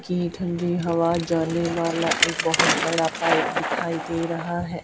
की ठंडी हवा जाने वाला एक बहोत बड़ा पाइप दिखाई दे रहा है।